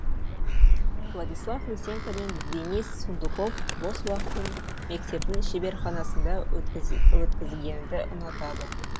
владислав лысенко мен денис сундуков бос уақытын мектептің шеберханасында өткізгенді ұнатады